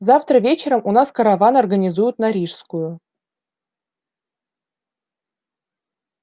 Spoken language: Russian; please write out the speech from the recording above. завтра вечером у нас караван организуют на рижскую